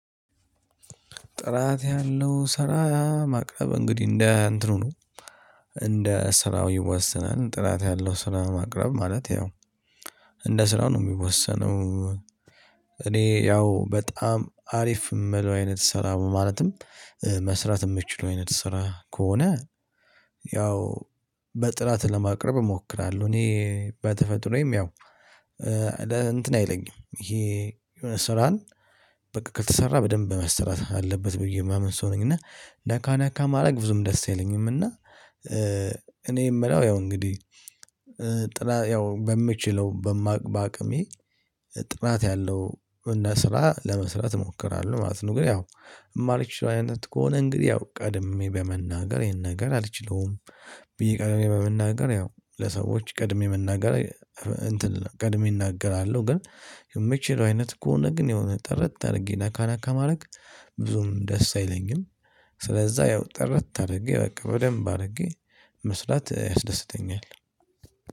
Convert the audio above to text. ጥራት ያለው ስራ ማቅረብ እንግዲህ እንደ እንትኑ ነው እንደ ስራው ይወሰናል ጥራት ያለው ስራ ማቅረብ ማለት ያው እንደ ስራው ነው የሚወሰነው። እኔ ያው በጣም አሪፍ እምለው አይነት ስራ ማለትም መስራት የምትችለው አይነት ስራ ከሆነ። ያው በጥራት ለማቅረብ እሞክራለሁ እኔ በተፈጥሮዬም ያው እንትን አይለኝም ይሄ የሆነ ስራን በቃ ከተሰራ በደንብ መስራት አለበት ብዬ የማምን ሰው ነኝ እና ነካ ነካ ማረግ ብዙም ደስ አይለኝም። እና እኔ የምለው ያው እንግዲህ ጥራት ያው በምችለው በማቅ ባቅሜ ጥራት ያለው እና ስራ ለመስራት እሞክራለሁ ማለት ነው። እንግዲህ ያው የማልችለው አይነት ከሆነ እንግዲህ ያው ቀድሜ በመናገር ይሄን ነገር አልችለውም። ብዬ ቀድሜ በመናገር ያው ለሰዎች ቀድሜ መናገር እንትን ቀድሜ እናገራለሁ። ግን የምችለው አይነት ከሆነ ግን የሆነ ጥርት አድርጌ ነካ ነካ ማድረግ ብዙም ደስ አይለኝም። ስለዛ ያው ጥርት አድርጌ በቃ በደንብ አድርጌ መስራት ያስደስተኛል።